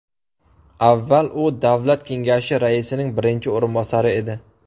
Avval u Davlat kengashi raisining birinchi o‘rinbosari edi.